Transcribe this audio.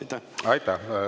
Aitäh!